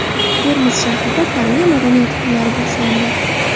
Termiz shahrida Koreya madaniyati kunlari boshlandi.